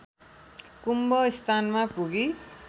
कुम्भ स्थानमा पुगी